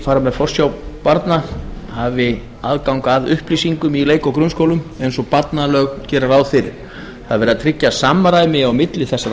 fara með forsjá barna hafi aðgang að upplýsingum í leik og grunnskólum eins og barnalög gera ráð fyrir það er verið að tryggja samræmi á milli þessara